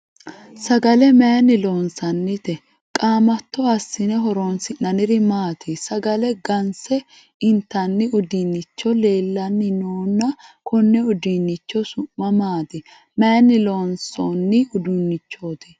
Saggale mayinni loonsoonnite? Qaamatto asinne horoonsi'nonniri maati? Sagale ganse intanni uduunnichi leelanni noonna konne uduunnichi su'ma maati? Mayinni loonsoonni uduunichoti?